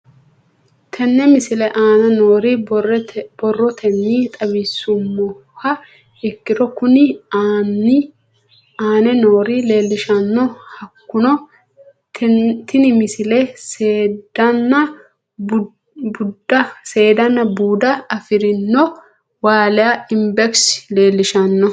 Tenne misile aana noore borrotenni xawisummoha ikirro kunni aane noore leelishano. Hakunno tinni misile seedana buuda afirinoha waaliya ibex leelishshano.